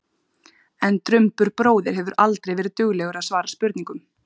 En Drumbur bróðir hefur aldrei verið duglegur að svara spurningum.